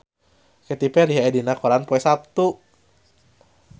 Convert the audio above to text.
Katy Perry aya dina koran poe Saptu